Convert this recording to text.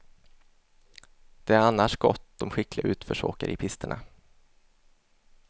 Det är annars gott om skickliga utförsåkare i pisterna.